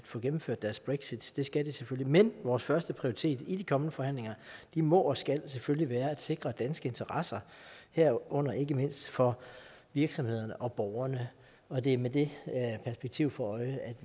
få gennemført deres brexit det skal de selvfølgelig men vores førsteprioritet i de kommende forhandlinger må og skal selvfølgelig være at sikre danske interesser herunder ikke mindst for virksomhederne og borgerne og det er med det perspektiv for øje at